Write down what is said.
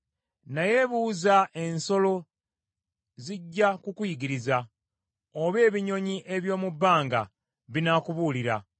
Naye buuza ensolo zijja kukuyigiriza, oba ebinyonyi eby’omu bbanga binaakubuulira.